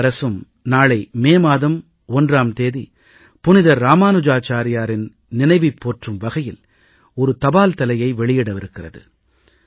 பாரத அரசும் நாளை மே மாதம் 1ஆம் தேதி புனிதர் இராமானுஜாச்சாரியாரின் நினைவைப் போற்றும் வகையில் ஒரு தபால் தலையை வெளியிடவிருக்கிறது